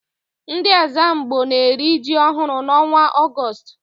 Ndị Ẹ́zàmgbó na-eri ji ọhụrụ n'ọnwa Ọgọọst.